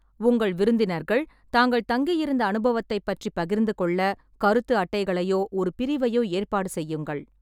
உங்கள் விருந்தினர்கள் தாங்கள் தங்கி இருந்த அனுபவத்தைப் பற்றிப் பகிர்ந்துகொள்ள, கருத்து அட்டைகளையோ ஒரு பிரிவையோ ஏற்பாடு செய்யுங்கள்.